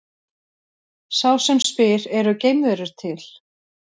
Sá sem spyr Eru geimverur til?